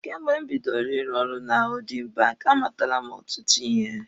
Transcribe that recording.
Kemgbe m bidoro ịrụ ọrụ na hoodin banki, a matala m ọtụtụ ihe.